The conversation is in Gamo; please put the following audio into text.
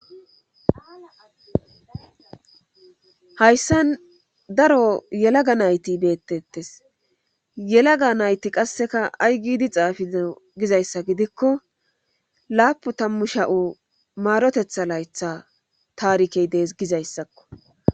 Hayssa daro yelaga nayti beettettes yelaga nayti qasseka aygiidi xaafido gizayssa gidikko laapu tammu sha'o maarotetha laytha taarikey dees gizayssakko.